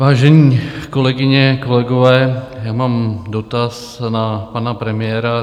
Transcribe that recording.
Vážené kolegyně, kolegové, já mám dotaz na pana premiéra.